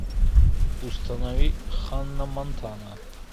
установи ханна монтана